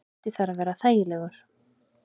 Hiti þarf að vera þægilegur.